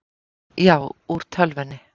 Já, úr tölvunni.